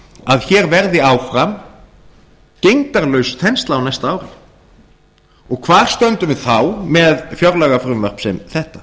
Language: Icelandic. að hér verði áfram gegndarlaus þensla á næsta ári hvar stöndum við þá með fjárlagafrumvarp sem þetta